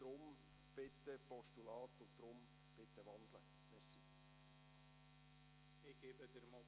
Deshalb bitte als Postulat und deshalb bitte wandeln!